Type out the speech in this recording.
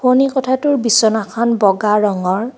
শোৱনি কোঠাটোৰ বিছনাখন ব'গা ৰঙৰ.